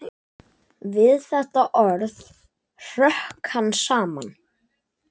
Við þetta orð hrökk hann saman.